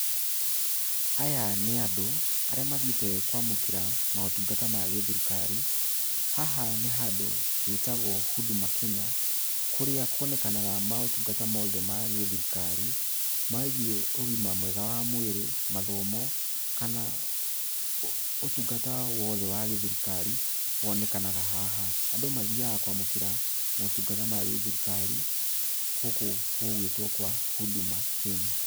Aya nĩ andũ, arĩa mathiĩte kwamũkĩra motungata ma gĩthirikari, haha nĩ handũ gwĩtagwo Huduma Kenya, kũrĩa kuonekanaga motungata mothe ma gĩthirikari, megiĩ ũgima mwega wa mwĩrĩ, mathomo, kana ũtungata wothe wa gĩthirikari, wonekanaga haha. Andũ mathiaga kwamũkĩra motungata ma gĩthirikari, gũkũ gũgwĩtwo kwa Huduma Kenya.